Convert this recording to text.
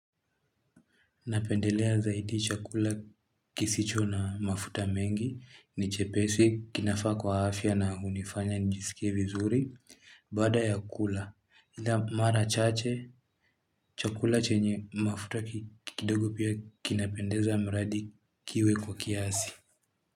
Napendelea zaidi chakula kisicho na mafuta mengi ni chepesi kinafaa kwa afya na hunifanya njisikie vizuri baada ya kula. Mara chache chakula chenye mafuta kidogo pia kinapendeza mradi kiwe kwa kiasi.